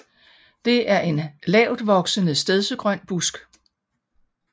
Det er en lavtvoksende stedsegrøn busk